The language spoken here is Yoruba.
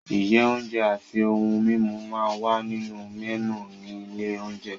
Iye oúnjẹ àti ohun-mímu máa ń wà nínú mẹ́nù ní ilé-oúnjẹ.